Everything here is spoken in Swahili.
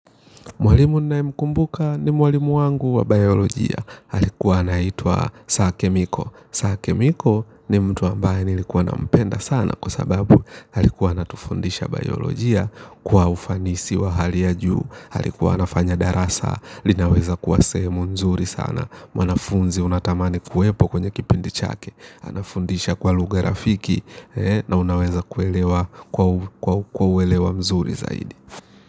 Mwalimu nayemkumbuka ni mwalimu wangu wa biolojia alikuwa anaitwa Sake Miko Sake Miko ni mtu ambaye nilikuwa nampenda sana. Kwa sababu alikuwa anatufundisha biolojia. Kwa ufanisi wa hali ya juu alikuwa anafanya darasa linaweza kuwa sehemu nzuri sana. Mwanafunzi unatamani kuwepo kwenye kipindi chake anafundisha kwa lugha rafiki. Na unaweza kwa uelewa mzuri zaidi.